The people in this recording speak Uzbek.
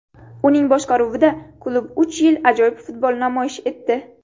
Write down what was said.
Uning boshqaruvida klub uch yil ajoyib futbol namoyish etdi.